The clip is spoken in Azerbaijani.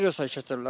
Virusa keçirlər.